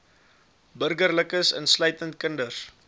burgerlikes insluitend kinders